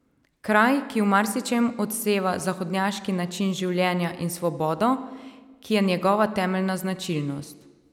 Kraj, ki v marsičem odseva zahodnjaški način življenja in svobodo, ki je njegova temeljna značilnost.